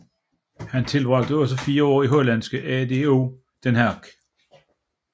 Han tilbragte også fire år i hollandske ADO Den Haag